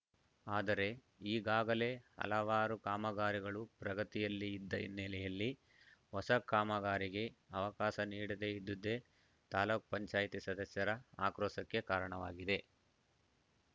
ಆದರೆ ಈಗಾಗಲೇ ಹಲವಾರು ಕಾಮಗಾರಿಗಳು ಪ್ರಗತಿಯಲ್ಲಿ ಇದ್ದ ಹಿನ್ನೆಲೆಯಲ್ಲಿ ಹೊಸ ಕಾಮಗಾರಿಗೆ ಅವಕಾಶ ನೀಡದೇ ಇದ್ದುದೇ ತಾಲೂಕ ಪಂಚಾಯತ್ ಸದಸ್ಯರ ಆಕ್ರೋಶಕ್ಕೆ ಕಾರಣವಾಗಿದೆ